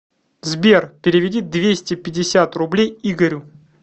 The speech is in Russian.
сбер переведи двести пятьдесят рублей игорю